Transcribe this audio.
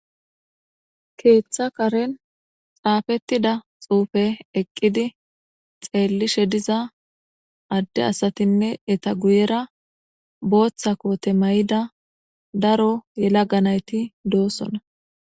Keththa karenni xaafettidda xuufe eqqidi xeellishshe diza adee asatinne eta guyera boththa kote mayida daro yelaga nayitti de'osona.